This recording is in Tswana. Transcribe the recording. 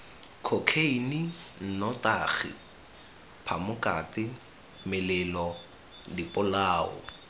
khokheine nnotagi phamokate melelo dipolao